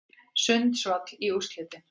Sundsvall í úrslitin